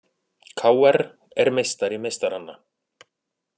KR er meistari meistaranna